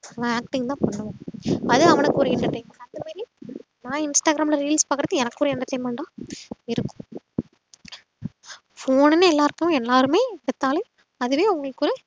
அவன் acting தான் பண்ணுவான் அது அவனுக்கு ஒரு entertainment அதுமாறி நா இன்ஸ்டாகிராம்ல reels பாக்குறது எனக்கு ஒரு entertainment டா இருக்கும் phone ணுன்னு எல்லாருக்கு எல்லாருமே எடுத்தாலும் அதுவே அவங்களுக்கு ஒரு